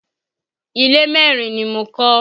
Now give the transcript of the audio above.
Ilé merin ni mo kọ́